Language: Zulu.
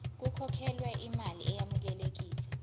kukhokhelwe imali eyamukelekile